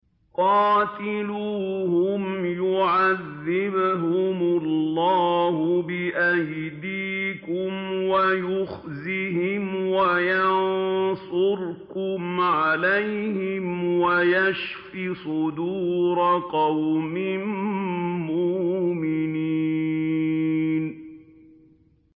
قَاتِلُوهُمْ يُعَذِّبْهُمُ اللَّهُ بِأَيْدِيكُمْ وَيُخْزِهِمْ وَيَنصُرْكُمْ عَلَيْهِمْ وَيَشْفِ صُدُورَ قَوْمٍ مُّؤْمِنِينَ